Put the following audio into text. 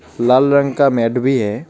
लाल रंग का मेट भी है.